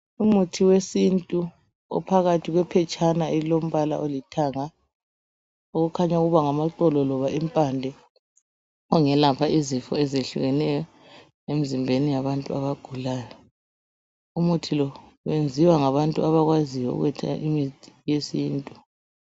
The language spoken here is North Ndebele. Umuthi wesintu ophakathi kwephetshana elilombala olithanga, okukhanya ukuba ngamaxolo loba impande ongelapha izifo ezehlukeneyo emzimbeni yabantu abagulayo. Umuthi lo wenziwa ngabantu abakwaziyo ukwetha imithi yesintu.